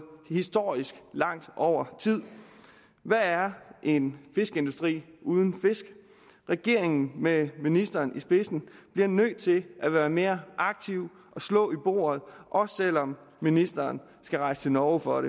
historisk langt over tid hvad er en fiskeindustri uden fisk regeringen med ministeren i spidsen bliver nødt til at være mere aktiv og slå i bordet også selv om ministeren skal rejse til norge for at